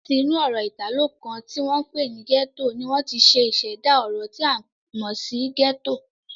Láti inú ọ̀rọ̀ Ìtàló kan ti wọ́n pè ní "gietto" ni wọ́n ti ṣẹ̀dá ọ̀rọ̀ tí a mọ̀ sí "ghetto"